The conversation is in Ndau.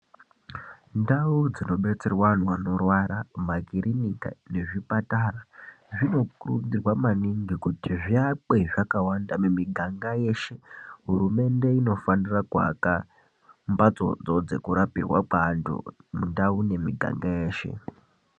Ndau dzino betserwa anhu anorwara makirinika ne zvipatara zvino kurudzirwa maningi kuti zvi akwe zvakawanda mi miganga yeshe hurumende ino fanira ku aka mbatso dzo dzeku rapirwa kwe antu mundau ne miganga yeshe.